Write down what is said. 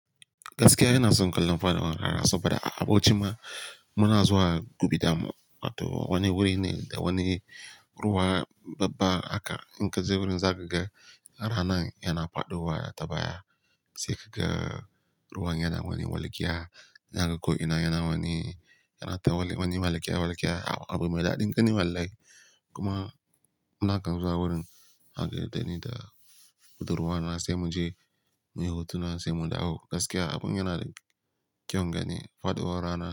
Gaskiya ina son kallon fada rana saboda a bauchi ma muna zuwa gubidamun. Wato wani wuri ne da wani ruwa babba aka inga wurin zagage ranar yana faɗowa tabaya. Sai kaga ruwan yana wani walƙiya, yana koyina yana wani, yana ta wani walƙiya walƙiya abu mai daɗin gani wallahi. Kuma munakan zuwa wurin ake daina da hudu ruwa na sai muje muyi hutuna sai munda. Ah gaskiya abun yana da kyaun gani, faɗowar rana.